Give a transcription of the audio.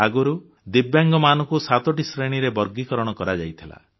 ଆଗରୁ ଦିବ୍ୟାଙ୍ଗମାନଙ୍କୁ ସାତୋଟି ଶ୍ରେଣୀରେ ବର୍ଗୀକରଣ କରାଯାଇଥିଲା